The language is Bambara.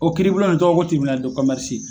O kiiribulon nin tɔgɔ ye ko